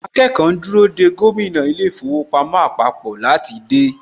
Àwọn akẹ́kọ̀ọ́ ń dúró dè gómìnà ilé īfowòpamó àpapò láti dé.